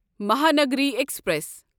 Mahanagari express